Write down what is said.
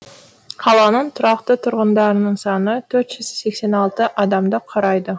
қаланың тұрақты тұрғындарының саны төрт жүз сексен алты адамды құрайды